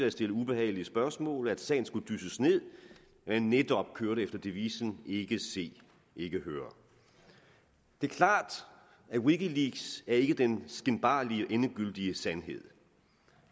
at stille ubehagelige spørgsmål at sagen skulle dysses ned og netop kørte efter devisen ikke se ikke høre det er klart at wikileaks ikke er den skinbarlige endegyldige sandhed